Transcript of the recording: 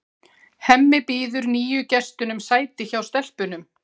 Hemmi býður nýju gestunum sæti hjá stelpunum.